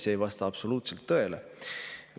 See ei vasta absoluutselt tõele.